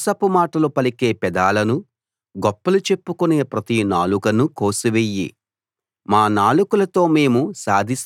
యెహోవా మోసపు మాటలు పలికే పెదాలనూ గొప్పలు చెప్పుకునే ప్రతి నాలుకనూ కోసివెయ్యి